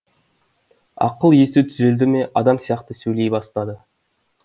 ақыл есі түзелді ме адам сияқты сөйлей бастады